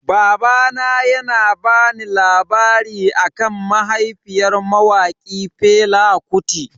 Babana yana bani labari akan mahaifiyar mawaki Fela Kuti.